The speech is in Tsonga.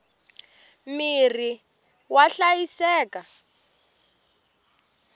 mirhi wa hlayiseka